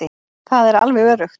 Það er alveg öruggt.